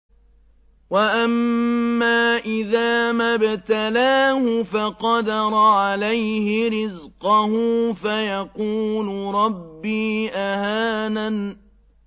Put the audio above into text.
وَأَمَّا إِذَا مَا ابْتَلَاهُ فَقَدَرَ عَلَيْهِ رِزْقَهُ فَيَقُولُ رَبِّي أَهَانَنِ